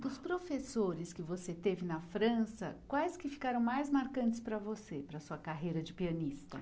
Dos professores que você teve na França, quais que ficaram mais marcantes para você, para a sua carreira de pianista?